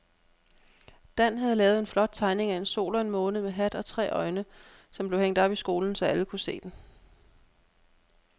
Dan havde lavet en flot tegning af en sol og en måne med hat og tre øjne, som blev hængt op i skolen, så alle kunne se den.